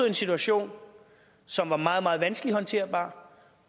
en situation som var meget vanskelig håndterbar